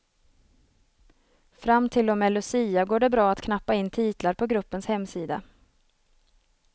Fram till och med lucia går det bra att knappa in titlar på gruppens hemsida.